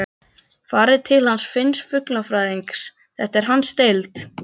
Farið til hans Finns fuglafræðings, þetta er hans deild.